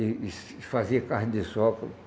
e e e fazia carne de sol.